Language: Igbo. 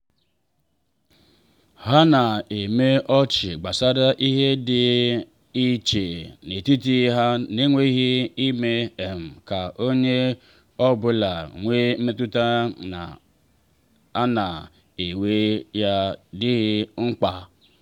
ha na eme ọchị gbasara ihe dị iche n’etiti ha n’enweghị ime um ka onye ọ bụla nwee mmetụta na a na-ewere ya dịghị mkpa.